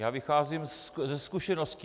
Já vycházím ze zkušeností.